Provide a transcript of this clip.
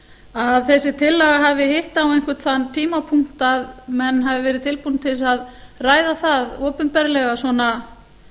að þessi tillaga hafi hitt á einhvern þann tímapunkt að menn hafi verið tilbúnir til þess að ræða það opinberlega svona